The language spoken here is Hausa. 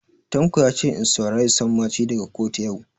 Tanko yace in saurari sammaci daga kotu yau